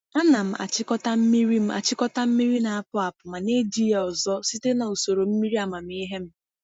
A na m achịkọta mmiri m achịkọta mmiri na-apụ apụ ma na-eji ya ọzọ site na usoro mmiri amamihe m.